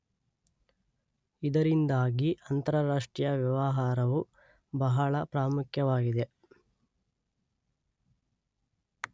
ಇದರಿಂದಾಗಿ ಅಂತರಾಷ್ಟ್ರೀಯ ವ್ಯವಹಾರವು ಬಹಳ ಪ್ರಾಮುಖ್ಯವಾಗಿದೆ.